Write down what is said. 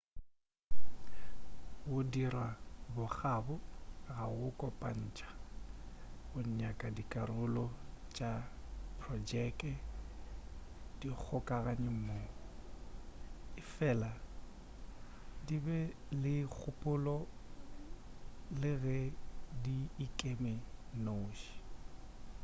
go dira bokgabo ga go kopantša go nyaka dikarolo tša projeke di kgokagane mmogo efela di be le kgopolo le ge di ikeme di nnoši